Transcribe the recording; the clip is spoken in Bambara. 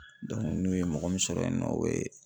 n'u ye mɔgɔ min sɔrɔ yen nɔ u be